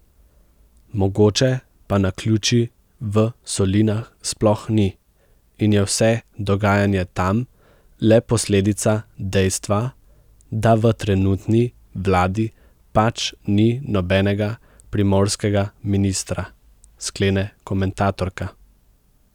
Mogoče pa naključij v solinah sploh ni in je vse dogajanje tam le posledica dejstva, da v trenutni vladi pač ni nobenega primorskega ministra, sklene komentatorka.